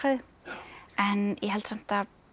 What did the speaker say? en ég held samt að